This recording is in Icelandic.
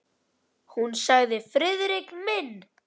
Hún sagði: Friðrik minn!